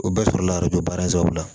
O bɛɛ sɔrɔla don baransɛw la